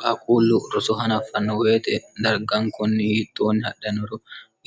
kaaquullu roso hanaaffanno wete dargaankonni yiittoonni hadhannoro